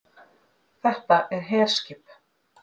Þetta er herskip